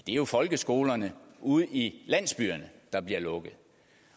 er jo folkeskolerne ude i landsbyerne der bliver lukket